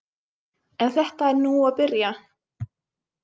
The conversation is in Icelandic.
En þetta er nú að byrja.